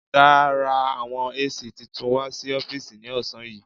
Ọ̀gá ra àwọn AC titun wà sí ọ́fìsì ní ọ̀sán yìí.